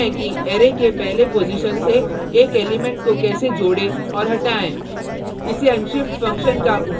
अब देखते हैं कि अरै के पहले पॉजिशन से एक एलिमेंट को कैसे जोड़े और हटाएँ